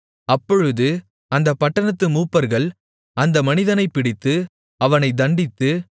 அப்பொழுது அந்தப் பட்டணத்து மூப்பர்கள் அந்த மனிதனைப் பிடித்து அவனைத் தண்டித்து